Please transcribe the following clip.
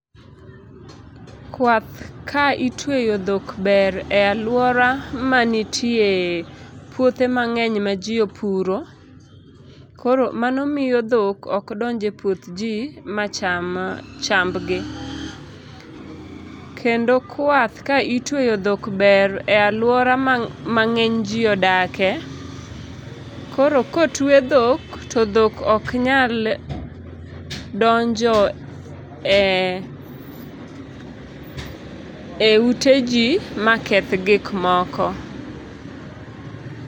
Kwath ka itweyo dhok ber e aluora ma nitie puothe mangeny ma jii opuro koro mano miyo dhok ok donj e puoth jii macham chambgi, kendo kwath ka itweyo dhok ber e aluora ma ngeny jii odake, koro kotwe dhok to dhok ok nyal donjo e ute jii maketh gik moko